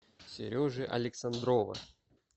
сережи александрова